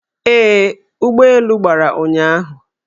Ee, ụgbọelu gbara ụnyahụ